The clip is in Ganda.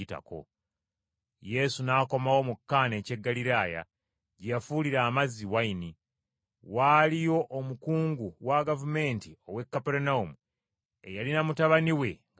Yesu n’akomawo mu Kaana eky’e Ggaliraaya, gye yafuulira amazzi wayini. Waaliyo omukungu wa gavumenti ow’e Kaperunawumu eyalina mutabani we nga mulwadde.